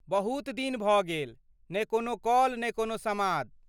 बहुत दिन भऽ गेल, ने कोनो कॉल ने कोनो समाद ।